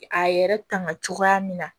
A yɛrɛ tanga cogoya min na